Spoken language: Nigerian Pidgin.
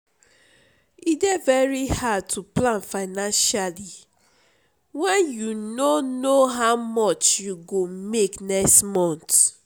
e dey very hard to plan financially when you no know how much you go make next month.